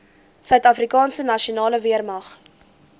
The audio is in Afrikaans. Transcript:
suidafrikaanse nasionale weermag